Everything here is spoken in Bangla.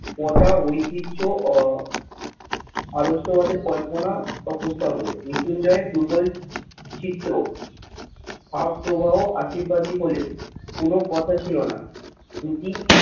পচা ঐতিহ্য আহ আদর্শবাদের কল্পনা বা প্রস্তাব বলে মৃত্যুঞ্জয় এর দুর্বল চিত্র ভাব প্রবাহ আশীর্বাদই বলে কোন কথা ছিল না। দুটি